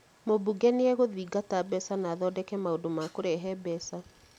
Mumbunge nĩ egũthingata mbeca na athondeke maũndũ ma kũrehe mbeca